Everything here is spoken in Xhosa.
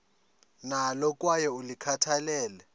nalo kwaye ulikhathalele